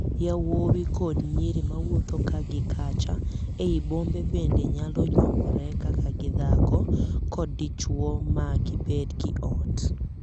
Yawuowi kod nyiri mawuotho ka gi kacha ei bombe bende nyalo nyuomore kaka dhako kod dichwo ma gibed gi ot.